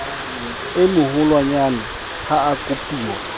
e moholwanyane ha a kopuwa